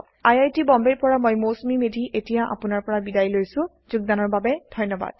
I I T Bombay ৰ পৰা মই মৌচুমী মেধী এতিয়া আপুনাৰ পৰা বিদায় লৈছো যোগদানৰ বাবে ধন্যবাদ